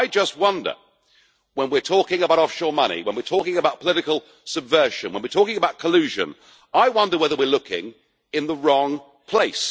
I just wonder when we are talking about offshore money, when we are talking about political subversion, when we are talking about collusion, I wonder whether we are looking in the wrong place.